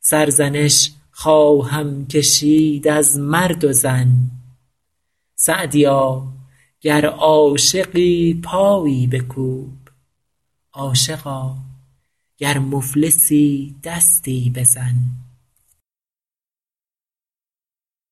سرزنش خواهم کشید از مرد و زن سعدیا گر عاشقی پایی بکوب عاشقا گر مفلسی دستی بزن